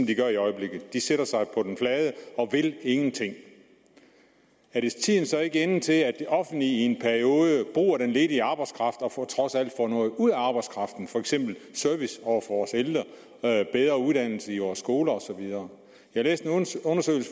de gør i øjeblikket de sætter sig på den flade og vil ingenting er tiden så ikke inde til at det offentlige i en periode bruger den ledige arbejdskraft og trods alt får noget ud af arbejdskraften for eksempel service over for os ældre bedre uddannelse i vores skoler osv jeg læste